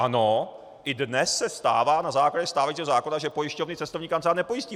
Ano, i dnes se stává na základě stávajícího zákona, že pojišťovny cestovní kancelář nepojistí.